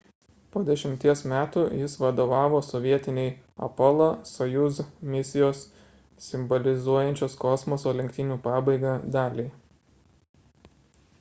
po dešimties metų jis vadovavo sovietinei apollo – soyuz misijos simbolizuojančios kosmoso lenktynių pabaigą daliai